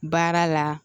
Baara la